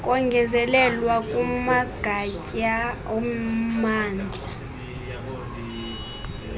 kongezelelwa kumagatya ommandla